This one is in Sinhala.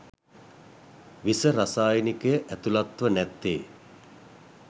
විස රසායනිකය ඇතුළත්ව නැත්තේ